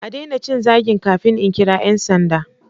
A daina cin zagin kafin in kira 'yan sanda.